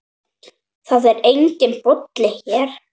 Það er enginn Bolli hér.